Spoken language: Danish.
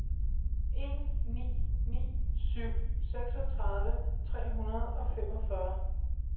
en ni ni syv seksogtredive tre hundrede og femogfyrre